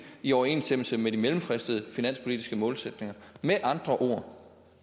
i overensstemmelse med de mellemfristede finanspolitiske målsætninger med andre ord